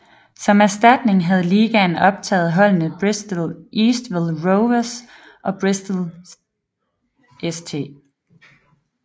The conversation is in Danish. Som erstatning havde ligaen optaget holdene Bristol Eastville Rovers og Bristol St